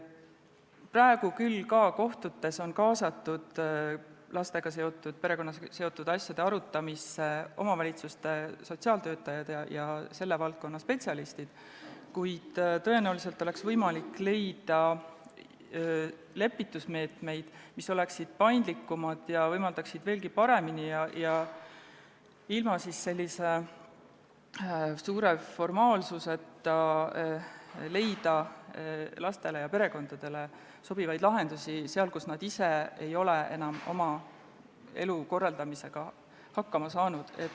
Praegu on küll ka kohtutes lastega, perekonnaga seotud asjade arutamisse kaasatud omavalitsuste sotsiaaltöötajad ja selle valdkonna spetsialistid, kuid tõenäoliselt oleks võimalik leida lepitusmeetmeid, mis oleksid paindlikumad ning võimaldaksid veelgi paremini ja ilma suurte formaalsusteta leida lastele ja perekondadele sobivaid lahendusi, kui nad ise ei ole oma elu korraldamisega hakkama saanud.